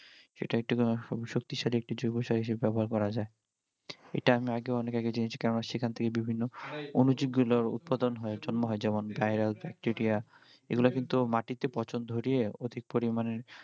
শক্তিশালী একটি জৈব সার হিসেবে ব্যবহার করা যায় এটা আমি অনেক আগেও জেনেছি কেননা সেখান থেকে বিভিন্ন অনুজীব গুলোর উৎপাদন হয় জন্ম হয় যেমন এগুলা কিন্তু মাটিতে পচন ধরিয়ে অধিক পরিমাণে